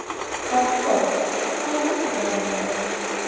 Hrafnborg, hvaða vikudagur er í dag?